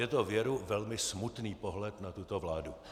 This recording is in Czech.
Je to věru velmi smutný pohled na tuto vládu.